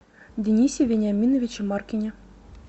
денисе вениаминовиче маркине